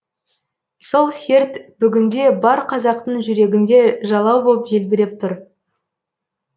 сол серт бүгінде бар қазақтың жүрегінде жалау боп желбіреп тұр